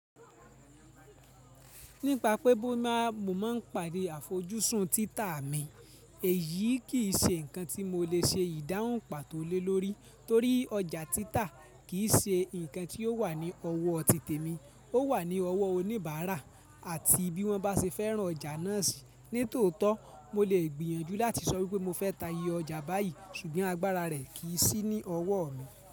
Nípa pé mo máa ń pàdé àfojúsùn títa mi, èyí kì í ṣe ǹkan tí mo lè ṣe ìdáhùn pàtó lè lórí torí ọjà títa kì í ṣe ǹkan tí ó wà ní ọwọ́ tí tèmi, ó wà ní ọwọ́ oníbàárà àti bí wọ́n bá ṣe fẹ́ràn ọjà náà sì ní tòótọ́, mo lè gbìyànjú láti sọ wípé mo fẹ́ ta iye ọjà báyìí ṣùgbọ́n agbára rẹ̀ kì í sí ní ọwọ́ mi.